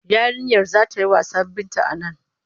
Yarinyar za ta yi wasa Binta a nan.